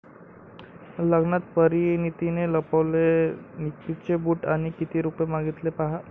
लग्नात परिणितीने लपवले निकचे बूट आणि किती रुपये मागितले पाहा...